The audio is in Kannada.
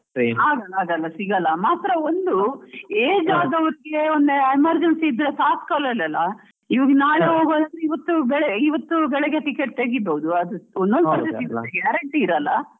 ಆಗೋಲ್ಲ ಆಗೋಲ್ಲ ಸಿಗೋಲ್ಲ ಮಾತ್ರ ಒಂದು age ಆದವರಿಗೆ ಒಂದ್ emergency ಇದ್ರೆ ಈವಾಗ ನಾಳೆ ಹೋಗುವಾಗ ಈವತ್ತು ಇವತ್ತು ಬೆಳಿಗ್ಗೆ ticket ತೆಗಿಬೋದು ಅದು ಒಂದ್ ಸಲ guarantee ಇರಲ್ಲ.